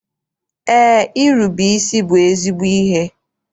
Eé, irube isi bụ ezigbo ihe.